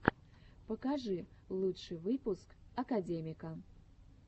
покажи лучший выпуск академика